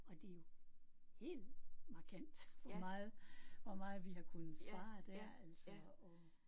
Og det er jo helt markant hvor meget hvor meget vi har kunnet spare der altså og